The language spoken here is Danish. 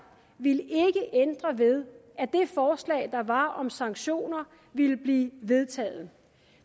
ville ikke ændre ved at det forslag der var om sanktioner ville blive vedtaget